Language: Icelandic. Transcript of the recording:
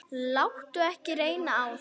Láttu ekki reyna á það.